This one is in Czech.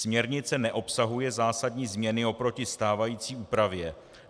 Směrnice neobsahuje zásadní změny oproti stávající úpravě.